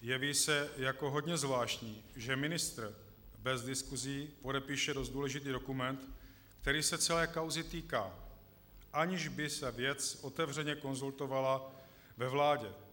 jeví se jako hodně zvláštní, že ministr bez diskusí podepíše dost důležitý dokument, který se celé kauzy týká, aniž by se věc otevřeně konzultovala ve vládě.